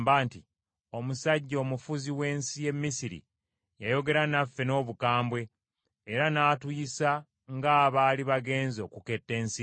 “Omusajja omufuzi w’ensi y’e Misiri yayogera naffe n’obukambwe era n’atuyisa nga abaali bagenze okuketta ensi ye.